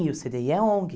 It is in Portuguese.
E o cê dê i é ONG.